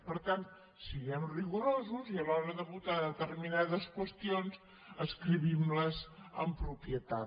per tant siguem rigorosos i a l’hora de votar determinades qüestions escriguem les amb propietat